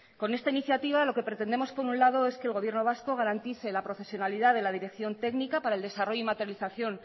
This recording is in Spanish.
con esta iniciativa lo que pretendemos por un lado es que el gobierno vasco garantice la profesionalidad de la dirección técnica para el desarrollo y materialización